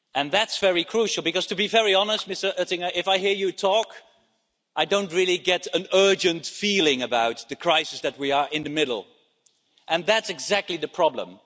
That's very crucial because, to be very honest, Mr Oettinger, if I hear you talk, I don't really get an urgent feeling about the crisis that we are in the middle of, and that's exactly the problem.